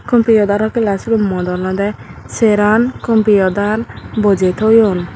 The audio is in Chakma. computer or class si room ut olode seran computer bojei toyun.